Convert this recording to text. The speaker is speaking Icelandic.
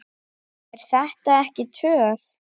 Er þetta ekki töff?